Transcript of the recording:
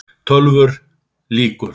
TÖLVUR LÝKUR